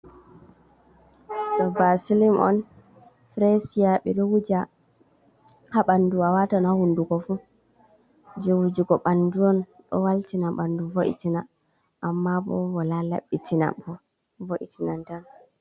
Ɗo vaselim on frasia, ɓi ɗo wuja ha ɓandu a watan ha hunduko fuu, je wujugo bandu on do waltina ɓandu vo’itina, amma bo wala labitina vo'itinan tan.